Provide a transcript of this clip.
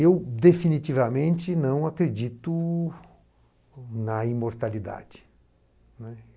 Eu definitivamente não acredito na imortalidade, né.